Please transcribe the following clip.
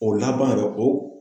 O laban yɛrɛ o